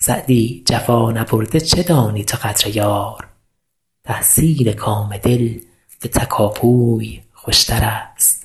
سعدی جفا نبرده چه دانی تو قدر یار تحصیل کام دل به تکاپوی خوشترست